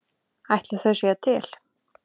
Ætli þau séu til?